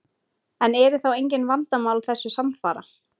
En eru þá engin vandamál þessu samfara?